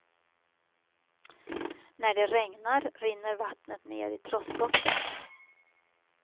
När det regnar rinner vattnet ner i trossbottnen.